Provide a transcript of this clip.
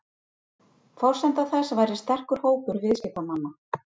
Forsenda þess væri sterkur hópur viðskiptamanna